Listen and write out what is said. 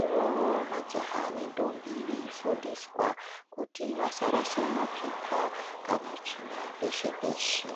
Ivovo majaha nendombi veifundisa kuti vasarasha mapepa kana tsvina peshe-peshe.